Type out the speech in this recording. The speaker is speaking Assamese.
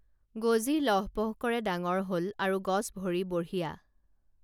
গজি লহ পহ কৰে ডাঙৰ হল আৰু গছ ভৰি বঢ়িয়া